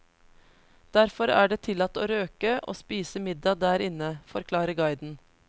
Derfor er det tillatt å røke og spise middag der inne, forklarer guiden.